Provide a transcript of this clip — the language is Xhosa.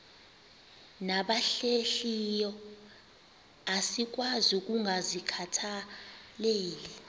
nabahlehliyo asikwazi ukungazikhathaieli